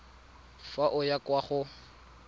fa o ya kwa go